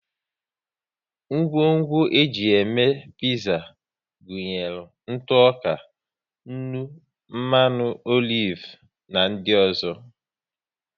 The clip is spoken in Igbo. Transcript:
Ngwongwo e ji eme piza gụnyere ntụ ọka, nnu, mmanụ olive na di ọzọ